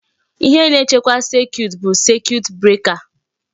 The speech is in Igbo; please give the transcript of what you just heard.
Ihe na-echekwa circuit bụ circuit breaker.